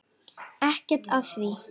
Ekkert að því.